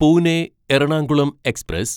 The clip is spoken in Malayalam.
പൂനെ എറണാകുളം എക്സ്പ്രസ്